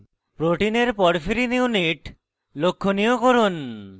protein porphyrin porphyrin units লক্ষনীয় করুন